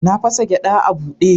Na fasa gyada a bude.